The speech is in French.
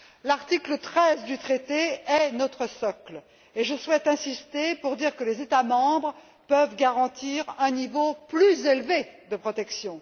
L'article 13 du traité est notre socle, et je souhaite insister pour dire que les États membres peuvent garantir un niveau plus élevé de protection.